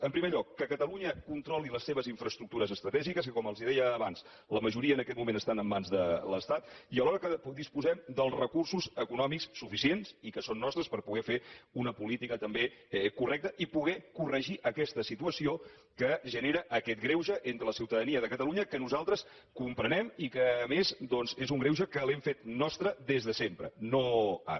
en primer lloc que catalunya controli les seves infraestructures estratègiques que com els deia abans la majoria en aquest moment estan en mans de l’estat i alhora que disposem dels recursos econòmics suficients i que són nostres per poder fer una política també correcta i poder corregir aquesta situació que genera aquest greuge entre la ciutadania de catalunya que nosaltres comprenem i que a més doncs és un greuge que l’hem fet nostre des de sempre no ara